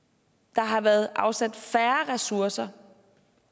der har været afsat færre ressourcer